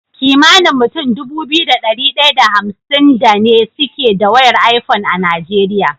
Kimanin mutun Dubu biyu da dari daya da hamsin da ne suke da wayar iphone a nigeria